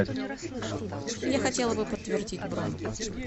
я хотела бы подтвердить бронь